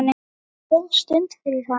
Þetta er góð stund fyrir hann.